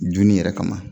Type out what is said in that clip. Dunni yɛrɛ kama